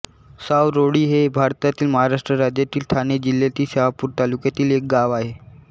सावरोळी हे भारतातील महाराष्ट्र राज्यातील ठाणे जिल्ह्यातील शहापूर तालुक्यातील एक गाव आहे